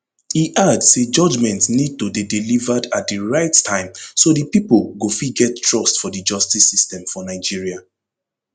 e add say judgement need to dey delivered at di right time so di pipo go fit get trust fot di justice system for nigeria